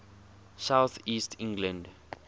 south east england